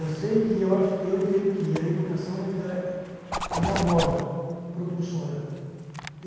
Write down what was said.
Eu sei que, eu entendo que a educação ainda é uma mola propulsora.